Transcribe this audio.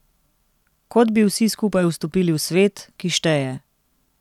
Kot bi vsi skupaj vstopili v svet, ki šteje.